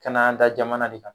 Kanada jamana de kan.